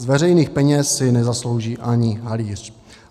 Z veřejných peněz si nezaslouží ani halíř.